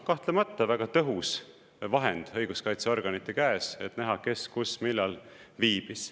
Kahtlemata väga tõhus vahend õiguskaitseorganite käes, et näha, kes kus millal viibis.